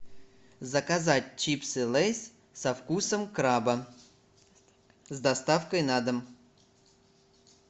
заказать чипсы лейс со вкусом краба с доставкой на дом